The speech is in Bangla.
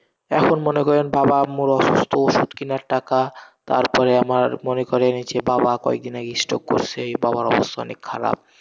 এখন মনে করেন বাবা আম্মুও অসুস্থ, ওষুধ কেনার টাকা তারপরে আমার মনে করেন, যে বাবা কয়েকদিন আগেই stroke করেসে, বাবার অবস্থা অনেক খারাপ।